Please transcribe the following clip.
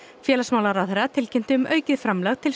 félagsmálaráðherra tilkynnti um aukið framlag til